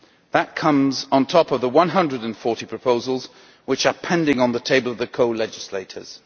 That comes on top of the 140 proposals which are pending on the table of the co legislators.